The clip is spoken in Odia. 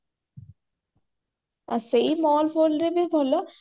ଆ ସେଇ mall ଫଲରେବି ଭଲ